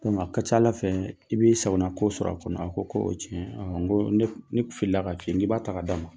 N ko nka a ka ca ala fɛ i b'i sagonanko sɔrɔ a kɔnɔ a ko ko o ye tiɲɛ ɔ n ko ne filila ka f'i k'i b'a ta ka d'a ma